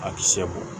A kisɛ bɔ